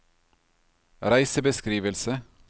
reisebeskrivelse